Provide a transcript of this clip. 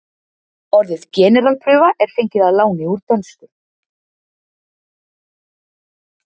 Orðið generalprufa er fengið að láni úr dönsku.